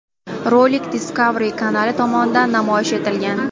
Rolik Discovery kanali tomonidan namoyish etilgan.